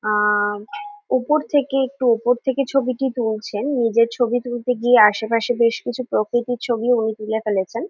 আ ওপর থেকে একটু ওপর থেকে ছবিটি তুলছেন নিজের ছবি তুলতে গিয়ে আসেপাসের বেশ কিছু প্রকৃতির ছবিও তিনি তুলে ফেলেছেন।